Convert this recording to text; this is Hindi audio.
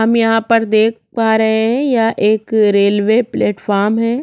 हम यहाँ पर देख पा रहै हैं यह एक रेलवे प्लेटफॉर्म है।